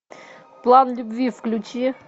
план любви включи